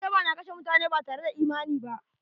Ƴan tada suna kashe mutane batare da imani ba..